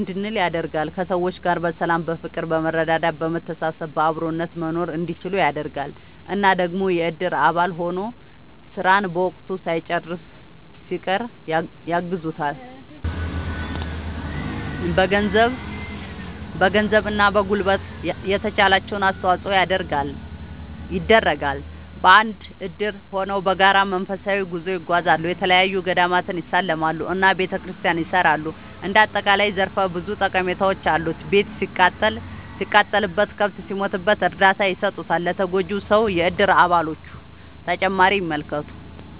እንድንል ያደርጋል። ከሰዎች ጋር በሰላም በፍቅር በመረዳዳት በመተሳሰብ በአብሮነት መኖርእንዲችሉ ያደርጋል። እና ደግሞ የእድር አባል ሆኖ ስራን በወቅቱ ሳይጨርስ ሲቀር ያግዙታል በገንዘብ እና በጉልበት የተቻላቸውን አስተዋፅዖ ይደረጋል። በአንድ እድር ሆነው በጋራ መንፈሳዊ ጉዞ ይጓዛሉ፣ የተለያዪ ገዳማትን ይሳለማሉ እና ቤተክርስቲያን ያሰራሉ እንደ አጠቃላይ ዘርፈ ብዙ ጠቀሜታዎች አሉት። ቤት ሲቃጠልበት፣ ከብት ሲሞትበት እርዳታ ይሰጡታል ለተጎጂው ሰው የእድር አባሎቹ።…ተጨማሪ ይመልከቱ